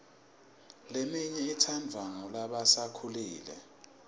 leminye itsandvwa ngulasebakhulile